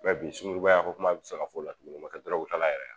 bi sunkuruba ya ko kuma be se ka fɔ la tuguni o te dɔrɔgu ta la yɛrɛ ye a?